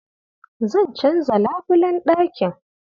Zan canza labulen ɗakin.